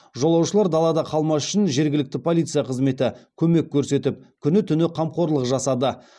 жолаушылар далада қалмас үшін жергілікті полиция қызметі көмек көрсетіп күні түні қамқорлық жасады